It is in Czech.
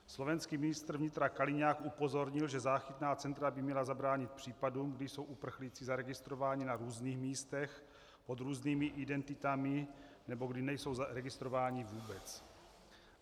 Slovenský ministr vnitra Kaliňák upozornil, že záchytná centra by měla zabránit případům, kdy jsou uprchlíci zaregistrováni na různých místech pod různými identitami nebo kdy nejsou zaregistrováni vůbec.